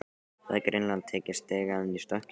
Hafði greinilega tekið stigann í stökki.